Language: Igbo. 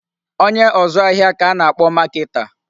Onye ọzụ ahịa ka a na-akpọ marketer.